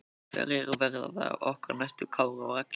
Hverjir verða okkar næstu Kári og Raggi?